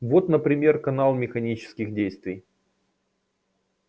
вот например канал механических действий